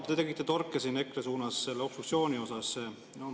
No te tegite torke siin EKRE suunas seoses obstruktsiooniga.